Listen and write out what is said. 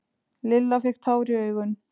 Lilla fékk tár í augun.